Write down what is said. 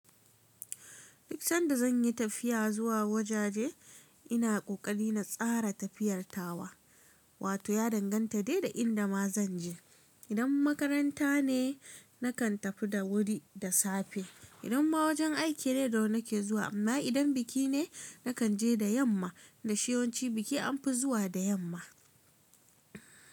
Duk sanda zan yi tafiya zuwa wajaje ina ƙoƙari na tsara tafiyarta wa. Wato ya danganta dai da inda ma zanje idan makaranta ne nakan tafi da wuri da safe idan ma wajen aiki ne da wuri nake zuwa. Amma idan biki ne nakan je da yamma, da shi yanci biki anfi zuwa da yamma.